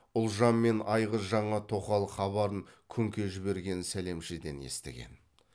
ұлжан мен айғыз жаңа тоқал хабарын күңке жіберген сәлемшеден естіген